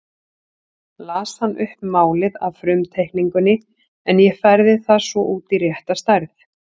Las hann upp málið af frumteikningunni en ég færði það svo út í rétta stærð.